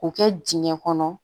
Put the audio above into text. K'o kɛ dingɛ kɔnɔ